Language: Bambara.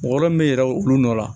Mɔgɔ min bɛ yɛlɛn o olu nɔ la